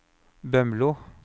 Bømlo